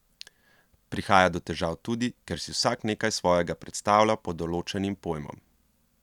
Prihaja do težav tudi, ker si vsak nekaj svojega predstavlja pod določenim pojmom?